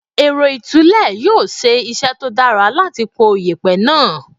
Èrọ ìtúlẹ̀ yóò ṣe iṣẹ́ tó dára láti po yèpẹ̀ náà.